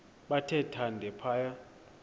bathe thande phaya